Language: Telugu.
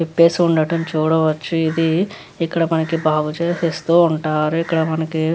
విప్పేసి ఉండడం చూడవచ్చు ఇది ఇక్కడ మనకు బాగు చేసి ఇస్తూ ఉంటారు ఇక్కడ మనకి --